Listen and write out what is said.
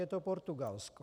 Je to Portugalsko.